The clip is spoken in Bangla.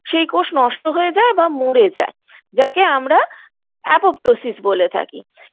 সেই কোষ নষ্ট হয়ে যায় বা মরে যায় যাকে আমরা apoptosis বলে থাকি